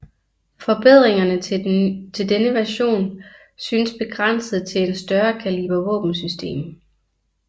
Forbedringerne til denne version synes begrænset til en større kaliber våbensystem